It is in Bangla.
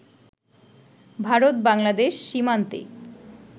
ভারত-বাংলাদেশ সীমান্তে